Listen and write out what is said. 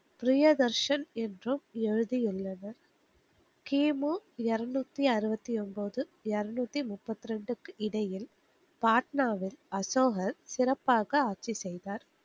பிரியதர்ஷன் என்றும் எழுதியுள்ளது. கிமு எரநூத்தி அம்பத்தி ஒம்பது, எரநூத்தி முப்பத்தி இரண்டுக்கிடையில் பாட்னாவில் அசோகர் சிறப்பாக ஆட்சி செய்தார்.